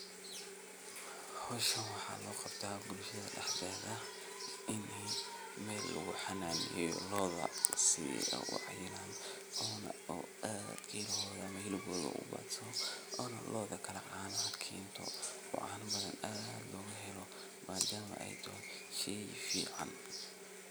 Marka wacyigelinta la sameeyo, talaabada labaad waxay noqonaysaa in la diyaariyo dhul ku habboon beeraleynta. Bulshada waa in laga qaybgeliyo diyaarinta beerta, iyagoo loo qaybiyo shaqooyinka sida nadiifinta dhulka, qodista godadka lagu beerayo, iyo diyaarinta abuurka la rabo in la beero. Intaa kadib, waa in la helo tababarro lagu baranayo sida ugu fiican ee loo beero geedaha ama dalagyada la doonayo. Tababarradan waxaa laga heli karaa khubaro deegaanka ah ama hay’adaha ka shaqeeya arrimaha beeraleynta.